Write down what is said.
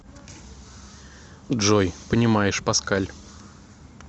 джой понимаешь паскаль